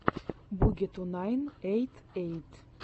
буги ту найн эйт эйт